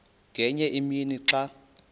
ngenye imini xa